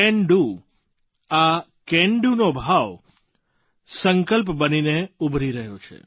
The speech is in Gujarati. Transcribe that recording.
કેન ડીઓ આ કેન doનો ભાવ સંકલ્પ બનીને ઉભરી રહ્યો છે